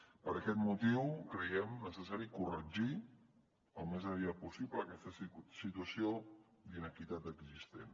per aquest motiu creiem necessari corregir al més aviat possible aquesta situació d’inequitat existent